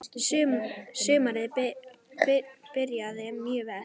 Sumarið byrjaði mjög vel.